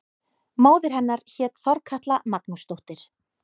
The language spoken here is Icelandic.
Móðir hennar hét Þorkatla Magnúsdóttir.